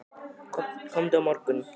Komdu á morgun.